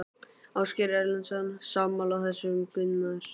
Ásgeir Erlendsson: Sammála þessu Gunnar?